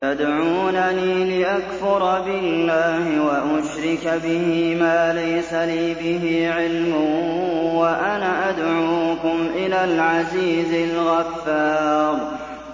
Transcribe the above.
تَدْعُونَنِي لِأَكْفُرَ بِاللَّهِ وَأُشْرِكَ بِهِ مَا لَيْسَ لِي بِهِ عِلْمٌ وَأَنَا أَدْعُوكُمْ إِلَى الْعَزِيزِ الْغَفَّارِ